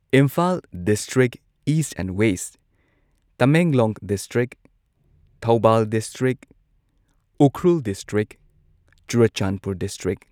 Imphal district east and west Tamenglong district Thoubal district Ukhrul district Churachandpur district